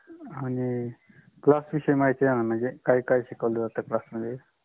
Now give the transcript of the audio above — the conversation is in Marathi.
आणि class विषयि महिती हवी. काय काय शिकावल जात class